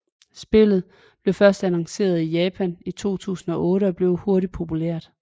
Spillet blev først annonceret i Japan i 2008 og blev hurtigt populært